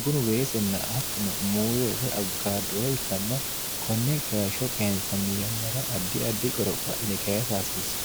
bunu weesinna attino muuse woy abbukaadoo ikkanna konne keeshsho keensanni yannara ardi ardi qoropho adhine keesa hasiissa